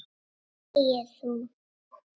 Þegi þú!